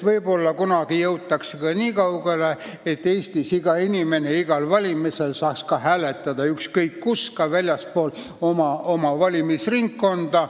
Võib-olla kunagi jõutakse nii kaugele, et Eestis saaks iga inimene igal valimisel hääletada ükskõik kus, ka väljaspool oma valimisringkonda.